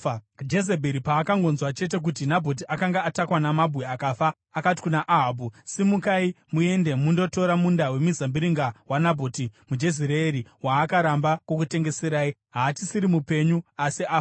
Jezebheri paakangonzwa chete kuti Nabhoti akanga atakwa namabwe akafa, akati kuna Ahabhu, “Simukai muende mundotora munda wemizambiringa waNabhoti muJezireeri waakaramba kukutengeserai. Haachisiri mupenyu, asi afa.”